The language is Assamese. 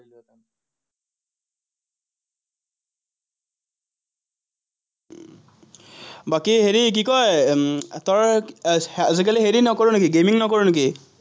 বাকী হেৰি কি কয়, উম তই আজিকালি হেৰি নকৰ নেকি, gaming নকৰ নেকি?